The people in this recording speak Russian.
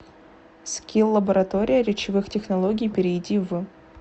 скилл лаборатория речевых технологий перейди в